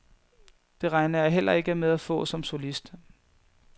Det regner jeg heller ikke med at få som solist.